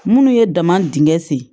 Minnu ye daman dingɛ sen